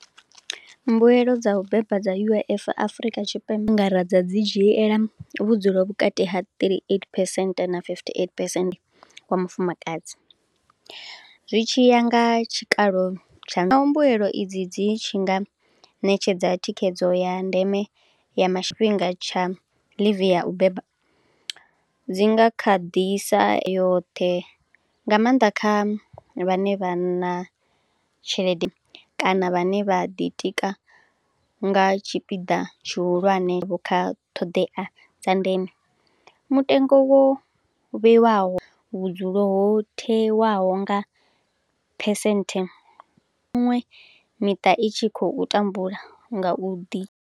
Mbuelo dza u beba dza U_I_F Afurika Tshipembe, nga ra dza dzi dzhiela vhudzulo vhukati ha thirty-eight percent na fifty-eight percent wa mufumakadzi. Zwi tshi ya nga tshikalo tsha, na mbuelo i dzi dzi tshi nga ṋetshedza thikhedzo ya ndeme ya ma tshifhinga tsha leave ya u beba, dzi nga kha ḓisa yoṱhe, nga maanḓa kha vhane vhanna tshelede, kana vhane vha ḓitika nga tshipiḓa tshihulwane vho kha ṱhoḓea dza ndeme. Mutengo wo vheiwaho vhudzulo ho theiwaho nga percent miṅwe miṱa i tshi khou tambula nga u ḓi.